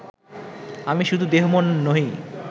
আমি শুধু দেহ-মন নহি